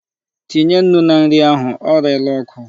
Tinye nnu na nri ahụ. O reela oku.